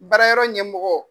Baarayɔrɔ ɲɛmɔgɔ.